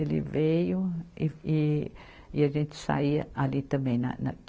Ele veio e, e, e a gente saía ali também na, na.